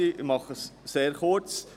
Ich mache es sehr kurz.